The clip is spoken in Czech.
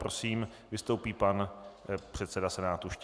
Prosím vystoupí pan předseda Senátu Štěch.